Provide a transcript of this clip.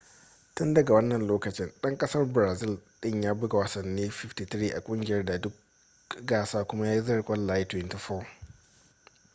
tun daga wannan lokacin dan kasar brazil din ya buga wasanni 53 a kungiyar a duk gasa kuma ya zira kwallaye 24